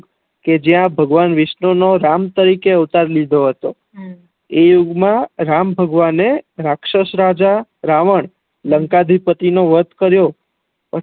કે જ્યા ભગવાન વિષ્ક્ષણુ નો રામ તરીકે નો અવતાર લીધો હત હમ એ યુગ મા રામ ભગવાને રાક્ષસ રાજા રાવણ લંકા ધી પતિ નો વધ કરિયો